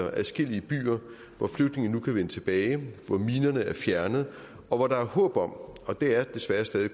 og adskillige byer hvor flygtningene nu kan vende tilbage hvor minerne er fjernet og hvor der er håb om og det er desværre stadig